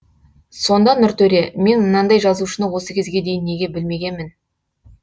сонда нұртөре мен мынандай жазушыны осы кезге дейін неге білмегенмін